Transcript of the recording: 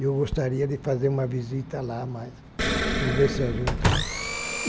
Eu gostaria de fazer uma visita lá, mas vou ver se ajunto.